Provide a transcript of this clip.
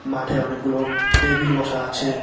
মাঠে অনেকগুলো টেবিল বসা আছে।